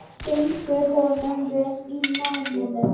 Gengur honum vel í náminu?